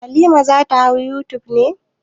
Halima za ta hau youtube ne?